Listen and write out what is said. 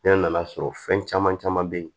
Ne nan'a sɔrɔ fɛn caman caman be yen